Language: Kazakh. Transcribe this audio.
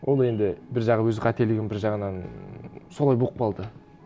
ол енді бір жағы өз қателігім бір жағынан солай болып қалды